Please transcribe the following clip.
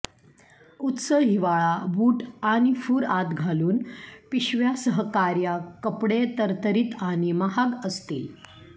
उच्च हिवाळा बूट आणि फूर आत घालून पिशव्या सहकार्या कपडे तरतरीत आणि महाग असतील